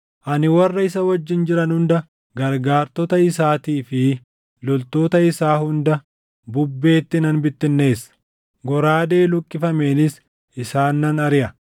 Ani warra isa wajjin jiran hunda gargaartota isaatii fi loltoota isaa hunda bubbeetti nan bittinneessa; goraadee luqqifameenis isaan nan ariʼa.